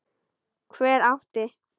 Hver átti?